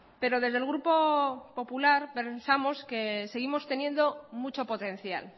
pero desde el grupo popular pensamos que seguimos teniendo mucho potencial